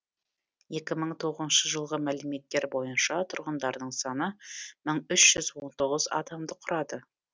екі мың тоғызыншы жылғы мәліметтер бойынша тұрғындарының саны мың үш жүз он тоғыз адамды құрады